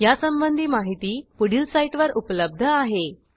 यासंबंधी माहिती पुढील साईटवर उपलब्ध आहे